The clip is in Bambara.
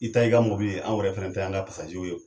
I ta y'i ka mɔbili ye anw yɛrɛ fɛnɛ ta ye anw ka ye.